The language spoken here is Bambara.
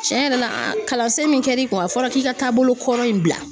Tiɲɛ yɛrɛ la kalansen min kɛra i kun a fɔra k'i ka taabolo kɔrɔ in bila.